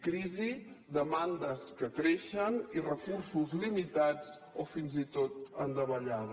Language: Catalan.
crisi demandes que creixen i recursos limitats o fins i tot en davallada